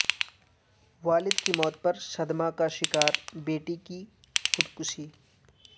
والد کی موت پر صدمہ کا شکار بیٹی کی خودکشی